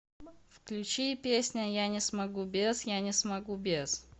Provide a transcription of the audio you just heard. включи песня я не смогу без я не смогу без